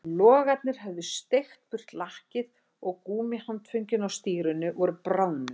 Logarnir höfðu sleikt burt lakkið og gúmmíhandföngin á stýrinu voru bráðnuð